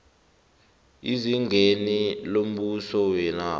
ezingeni lombuso wenarha